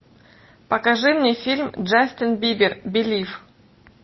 покажи мне фильм джастин бибер белив